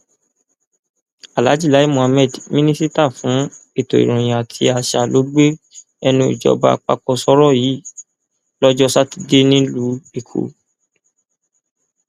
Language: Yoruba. aláàjì lai muhammed mínísítà fún ètò ìròyìn àti àṣà ló gba ẹnu ìjọba àpapọ sọrọ yìí lọjọ sátidé nílùú èkó